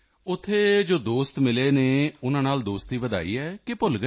ਉੱਥੇ ਜੋ ਦੋਸਤ ਮਿਲੇ ਹਨ ਉਨ੍ਹਾਂ ਨਾਲ ਦੋਸਤੀ ਵਧਾਈ ਕਿ ਆ ਕੇ ਭੁੱਲ ਗਏ